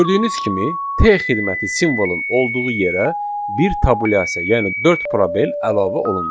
Gördüyünüz kimi, T xidməti simvolunun olduğu yerə bir tabulyasiya, yəni dörd probel əlavə olundu.